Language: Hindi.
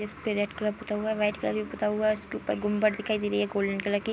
इसपे रेड कलर पोता हुआ है। वाइट कलर भी पोता हुआ है। इसके ऊपर गुम्बार्ड दिखाई दे रही है गोल्डन कलर की |